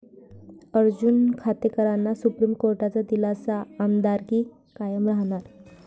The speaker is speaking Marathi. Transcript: अर्जुन खोतकरांना सुप्रीम कोर्टाचा दिलासा, आमदारकी कायम राहणार